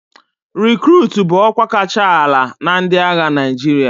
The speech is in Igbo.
Rekurutu bụ ọkwa kacha ala na ndị agha Naịjirịa.